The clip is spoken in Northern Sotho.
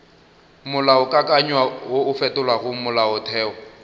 molaokakanywa wo o fetolago molaotheo